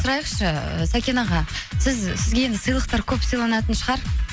сұрайықшы сәкен аға сізге енді сыйлықтар көп сыйланатын шығар